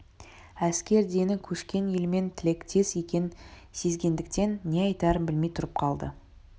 әскер дені көшкен елмен тілектес екенін сезгендіктен не айтарын білмей тұрып қалды